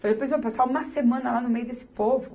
passar uma semana lá no meio desse povo.